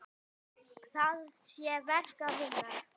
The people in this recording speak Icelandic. Þar sé verk að vinna.